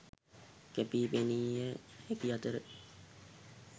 කැපී පෙනිය හැකි අතර